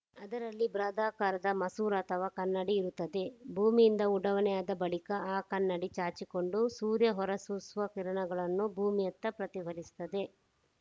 ಅದರಲ್ಲಿ ಬೃಹದಾಕಾರದ ಮಸೂರ ಅಥವಾ ಕನ್ನಡಿ ಇರುತ್ತದೆ ಭೂಮಿಯಿಂದ ಉಡಾವಣೆಯಾದ ಬಳಿಕ ಆ ಕನ್ನಡಿ ಚಾಚಿಕೊಂಡು ಸೂರ್ಯ ಹೊರಸೂಸುವ ಕಿರಣಗಳನ್ನು ಭೂಮಿಯತ್ತ ಪ್ರತಿಫಲಿಸುತ್ತದೆ